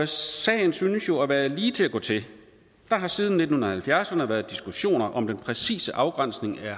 sagen synes jo at være lige til at gå til der har siden nitten halvfjerdserne været diskussioner om den præcise afgrænsning af